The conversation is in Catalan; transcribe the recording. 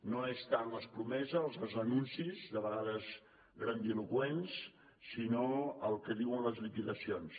no és tant les promeses els anuncis de vegades grandiloqüents sinó el que diuen les liquidacions